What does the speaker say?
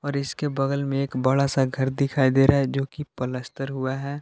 और इसके बगल मे एक बड़ा-सा घर दिखाई दे रहा है। जो की पलस्तर हुआ है।